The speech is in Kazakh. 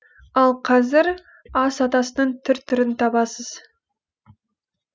ал қазір ас атасының түр түрін табасыз